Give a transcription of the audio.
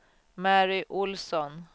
Mary Olsson